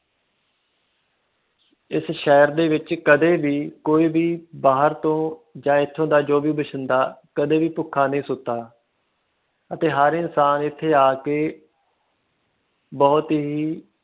ਸ਼ਹਿਰ ਦੇ ਵਿਚ ਕਦੇ ਵੀ ਕੋਈ ਵੀ ਬਾਹਰ ਤੋਂ ਆ ਸ਼ਹਿਰ ਦਾ ਕਦੇ ਵੀ ਕੁਛ ਭੁੱਖਾ ਨਹੀਂ ਸੁੱਤਾ ਹਰ ਇਨਸਾਨ ਇਥੇ ਆ ਕੇ ਬਹੁਤ ਹੀ